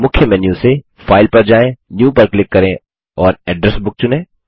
मुख्य मेन्यू से फाइल पर जाएँ न्यू पर क्लिक करें और एड्रेस बुक चुनें